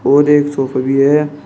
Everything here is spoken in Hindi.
और एक सोफे भी है।